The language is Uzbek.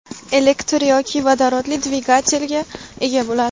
elektr yoki vodorodli dvigatelga ega bo‘ladi.